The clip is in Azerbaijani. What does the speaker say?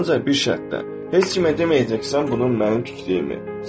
Ancaq bir şərtlə, heç kimə deməyəcəksən bunun mənim tikdiyimi.